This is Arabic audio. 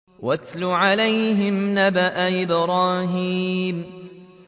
وَاتْلُ عَلَيْهِمْ نَبَأَ إِبْرَاهِيمَ